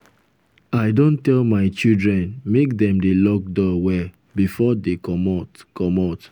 i don tell my children make dem dey lock door well before dey comot comot